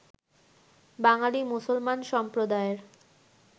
বাঙালি মুসলমান সম্প্রদায়ের